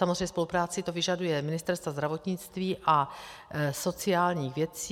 Samozřejmě spolupráci to vyžaduje ministerstev zdravotnictví a sociálních věcí.